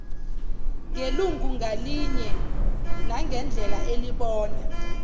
ngelungu ngalinyenangendlela elibona